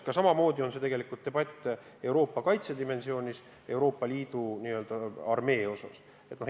Samamoodi käib debatt Euroopa kaitsedimensiooni, n-ö Euroopa Liidu armee üle.